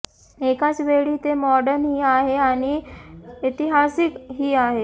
एकाच वेळी ते मॉडर्न ही आहे आणि ऐतिहासिक ही आहे